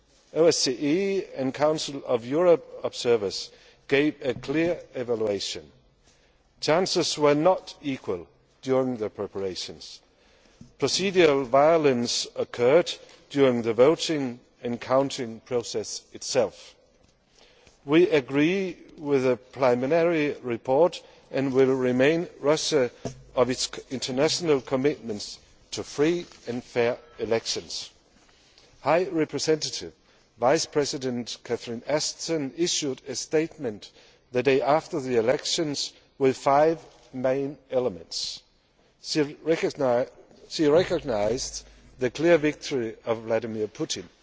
OSCE and Council of Europe observers gave a clear evaluation opportunities were not equal during the preparations, and procedural violence occurred during the voting and counting process itself. We agree with their preliminary report and will remind Russia of its international commitment to free and fair elections. High Representative Vice President Catherine Ashton issued a statement the day after the elections with five main elements. She recognised the clear victory of Vladimir Putin,